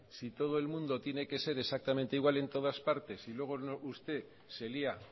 si todo el mundo tiene que ser exactamente igual en todas partes y luego usted se lía